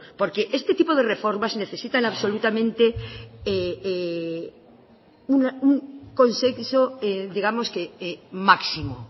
porque este tipo de reformas necesitan absolutamente un consenso digamos que máximo